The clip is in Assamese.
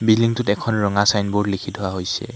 বিল্ডিং টোত এখন ৰঙা চাইনব'ৰ্ড লিখি থোৱা হৈছে।